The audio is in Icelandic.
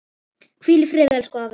Hvíl í friði, elsku afi.